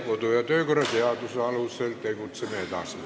Kodu- ja töökorra seaduse alusel tegutseme sellega edasi.